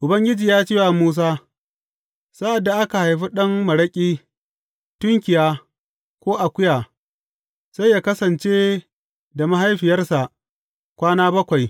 Ubangiji ya ce wa Musa, Sa’ad da aka haifi ɗan maraƙi, tunkiya, ko akuya, sai yă kasance da mahaifiyarsa kwana bakwai.